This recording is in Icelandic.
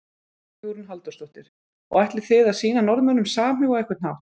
Hugrún Halldórsdóttir: Og ætlið þið að sýna Norðmönnum samhug á einhvern hátt?